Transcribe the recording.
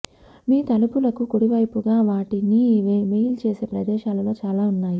మీ తలుపులకు కుడివైపుగా వాటిని మెయిల్ చేసే ప్రదేశాలలో చాలా ఉన్నాయి